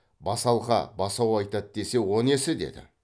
басалқа басу айтады десе о несі деді